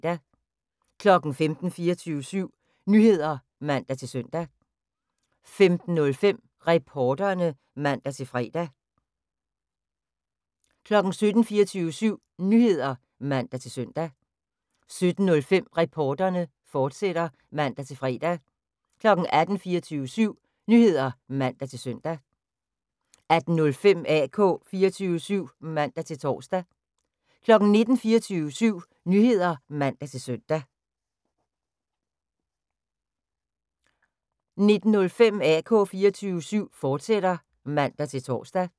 15:00: 24syv Nyheder (man-søn) 15:05: Reporterne (man-fre) 16:00: 24syv Nyheder (man-søn) 16:05: Reporterne, fortsat (man-fre) 17:00: 24syv Nyheder (man-søn) 17:05: Reporterne, fortsat (man-fre) 18:00: 24syv Nyheder (man-søn) 18:05: AK 24syv (man-tor) 19:00: 24syv Nyheder (man-søn) 19:05: AK 24syv, fortsat (man-tor)